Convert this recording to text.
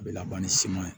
A bɛ laban ni ye